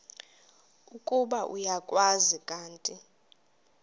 ukuba uyakwazi kanti